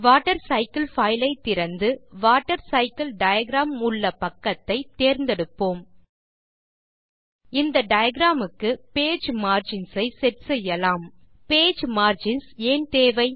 water cycle பைலை திறந்து water cycle diagram உள்ள பக்கத்தை தேர்ந்தெடுப்போம் இந்த டிராவிங் க்கு பேஜ் மார்ஜின்ஸ் ஐ செட் செய்யலாம் பேஜ் மார்ஜின்ஸ் ஏன் தேவை